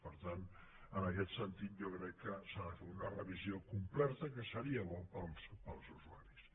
per tant en aquest sentit jo crec que s’ha de fer una revisió completa que seria bo per als usuaris